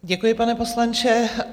Děkuji, pane poslanče.